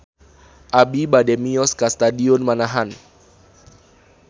Abi bade mios ka Stadion Manahan